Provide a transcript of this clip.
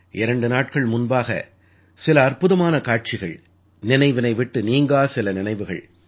இரண்டு நாட்கள் முன்பாக சில அற்புதமான காட்சிகள் நினைவினை விட்டு நீங்கா சில நினைவுகள்